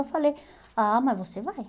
Eu falei, ah, mas você vai.